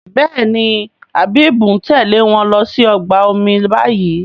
Béèni Habib ń Tèlé wón ló sì ọgbà omi bayí.